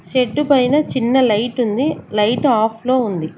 Shed పైన చిన్న light ఉంది లైట్ ఆఫ్ లో ఉంది.